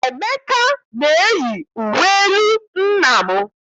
Emeka na-eyi uwe elu nna m.